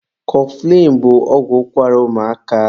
Kọfụlịn bụ ọgwụ ụkwara ụmụaka